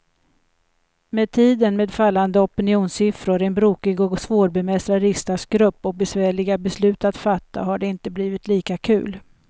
Med tiden, med fallande opinionssiffror, en brokig och svårbemästrad riksdagsgrupp och besvärliga beslut att fatta, har det inte blivit lika kul.